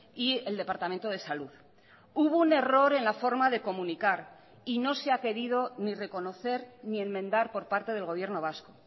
y el departamento de salud hubo un error en la forma de comunicar y no se ha querido ni reconocer ni enmendar por parte del gobierno vasco